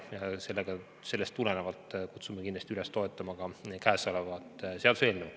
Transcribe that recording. Sellest tulenevalt kutsume kindlasti üles toetama ka kõnealust seaduseelnõu.